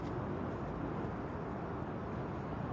Bax burda da yollar gəlir, ordan da yollar gəlir.